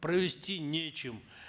провести нечем